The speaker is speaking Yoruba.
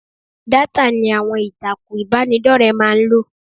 Dátà ni àwọn ìtàkùn ìbánidọ́rẹ̀ẹ́ máa ń lò.